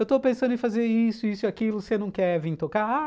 Eu estou pensando em fazer isso, isso e aquilo, você não quer vir tocar?